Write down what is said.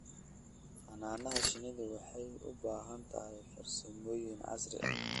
Xannaanada shinnidu waxay u baahan tahay farsamooyin casri ah.